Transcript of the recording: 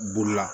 Bolila